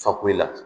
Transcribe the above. Fakoyi la